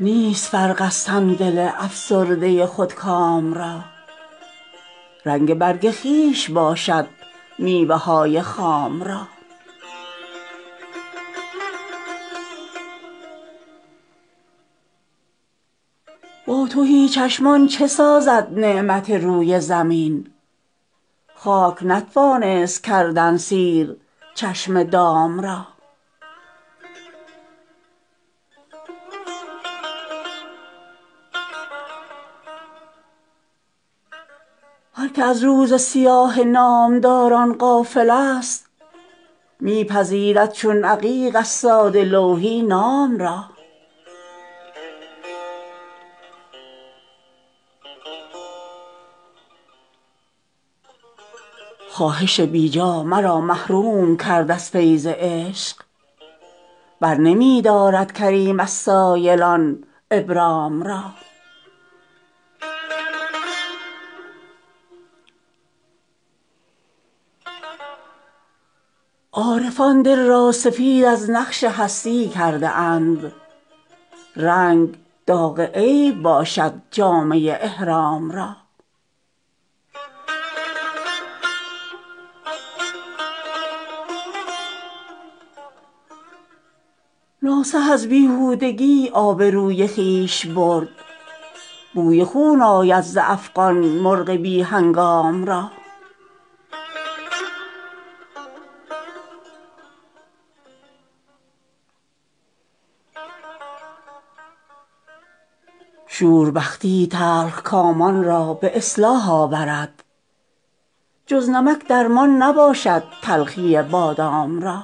نیست فرق از تن دل افسرده خودکام را رنگ برگ خویش باشد میوه های خام را با تهی چشمان چه سازد نعمت روی زمین خاک نتوانست کردن سیر چشم دام را هر که از روز سیاه نامداران غافل است می پذیرد چون عقیق از ساده لوحی نام را خواهش بی جا مرا محروم کرد از فیض عشق برنمی دارد کریم از سایلان ابرام را عارفان دل را سفید از نقش هستی کرده اند رنگ داغ عیب باشد جامه احرام را ناصح از بیهودگی آبروی خویش برد بوی خون آید ز افغان مرغ بی هنگام را شور بختی تلخکامان را به اصلاح آورد جز نمک درمان نباشد تلخی بادام را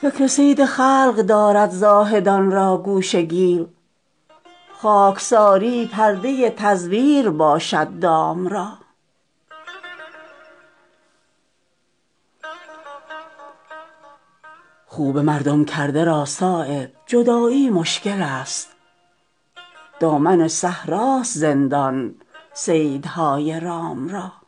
فکر صید خلق دارد زاهدان را گوشه گیر خاکساری پرده تزویر باشد دام را خو به مردم کرده را صایب جدایی مشکل است دامن صحراست زندان صیدهای رام را